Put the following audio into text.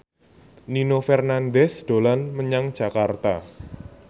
Nino Fernandez dolan menyang Jakarta